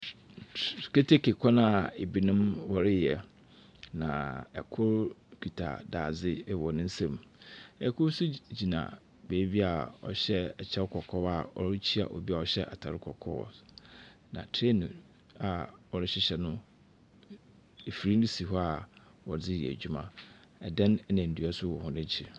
Tr tr keteke kwan a binom wɔreyɛ, na kor kita dadze wɔ ne nsamu. Kor nso gyina beebi a ɔhyɛ kyew kɔkɔɔ a ɔrikyia obi a ɔhyɛ atar kɔkɔɔ, na train a wɔrehyehyɛ no, afir no si hɔ a wɔdze reyɛ adwuma. Dan na ndua nso wɔ hɔn ekyir.